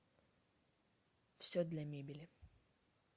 все для мебели